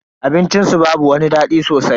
Abincin su babu wani dadi sosai.